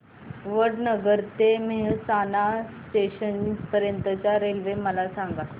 वडनगर ते मेहसाणा जंक्शन पर्यंत च्या रेल्वे मला सांगा